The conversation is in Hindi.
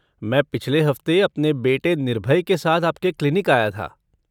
मैं पिछले हफ़्ते अपने बेटे निर्भय के साथ आपके क्लिनिक आया था।